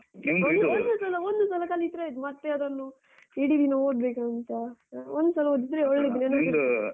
ಒಂದು ಸಲ ಕಲಿತ್ರೆ ಆಯ್ತು ಮತ್ತೆ ಅದನ್ನು ಇಡಿ ದಿನ ಒದ್ಬೇಕಂತ. ಒಂದ್ ಸಲ ಓದಿದ್ರೆ